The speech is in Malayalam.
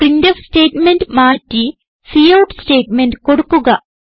പ്രിന്റ്ഫ് സ്റ്റേറ്റ്മെന്റ് മാറ്റി കൌട്ട് സ്റ്റേറ്റ്മെന്റ് കൊടുക്കുക